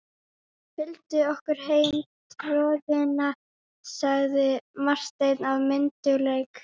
Fylgdu okkur heim tröðina, sagði Marteinn af myndugleik.